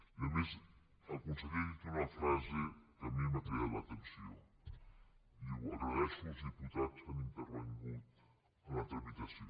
i a més el conseller ha dit una frase que a mi m’ha cridat l’atenció diu agraeixo als diputats que han intervingut en la tramitació